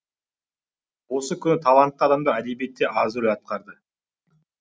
осы күні талантты адамдар әдебиетте аз рөл атқарды